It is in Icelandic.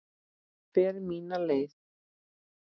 Fer mína leið.